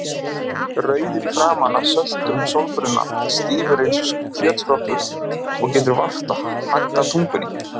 rauður í framan af söltum sólbruna, stífur eins og kjötskrokkur og getur vart haggað tungunni.